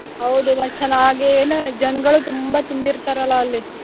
ಹೌದು ಮತ್ತ್ ಚೆನ್ನಾಗಿ ಏನ್ ಜನಗಳು ತುಂಬಾ ತುಂಬಿರ್ತಾರಲ್ಲ ಅಲ್ಲಿ.